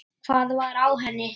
Hvað var á henni?